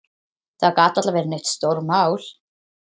Það gat varla verið neitt stórmál.